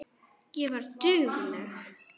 Ég var dugleg.